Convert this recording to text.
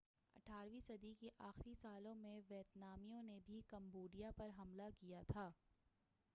اٹھارویں صدی کے آخری سالوں میں ویتنامیوں نے بھی کمبوڈیا پر حملہ کیا تھا